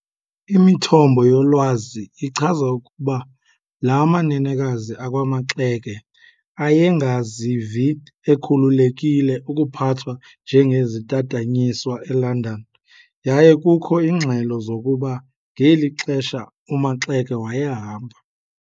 Imithombo yolwazi ichaza ukuba la manenekazi akwaMaxeke ayengazivi ekhululekile ukuphathwa njengezitatanyiswa eLondon yaye kukho iingxelo zokuba ngeli xesha uMaxeke wayehamba